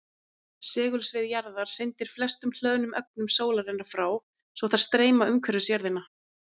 segulsvið jarðar hrindir flestum hlöðnum ögnum sólarinnar frá svo þær streyma umhverfis jörðina